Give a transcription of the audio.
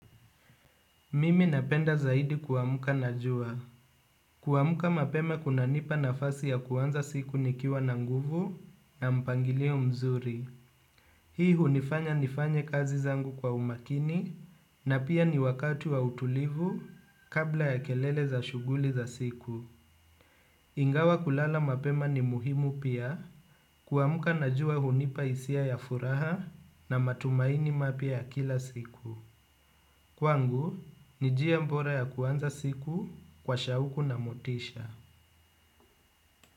Mimi napenda zaidi kuamka na jua. Kuamka mapema kuna nipa nafasi ya kuanza siku nikiwa na nguvu na mpangilio mzuri. Hii hunifanya nifanye kazi zangu kwa umakini na pia ni wakati wa utulivu kabla ya kelele za shughuli za siku. Ingawa kulala mapema ni muhimu pia kuamka na jua hunipa hisia ya furaha na matumaini mapya ya kila siku. Kwangu, ni njia bora ya kuanza siku kwa shauku na motisha.